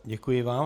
Děkuji vám.